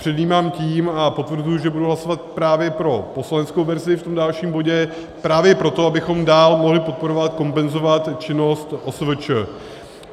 Předjímám tím a potvrzuji, že budu hlasovat právě pro poslaneckou verzi v tom dalším bodě, právě proto, abychom dál mohli podporovat, kompenzovat činnost OSVČ.